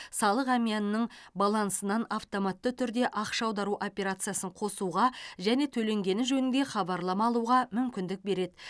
салық әмиянының балансынан автоматты түрде ақша аудару опциясын қосуға және төленгені жөніңде хабарлама алуға мүмкіндік береді